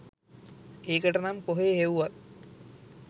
ඒකටනම් කොහේ හෙව්වත්